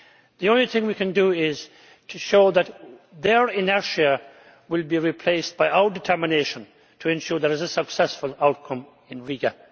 The only thing we can do is to show that their inertia will be replaced by our determination to ensure there is a successful outcome in Riga.